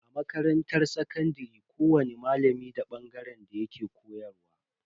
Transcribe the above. A makarantar sakandare kowani malami da bangaren da yake koyarwa.